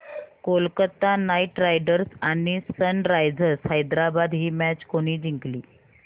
Kolkata Knight Riders आणि Sunrisers Hyderabad ही match कोणी जिंकली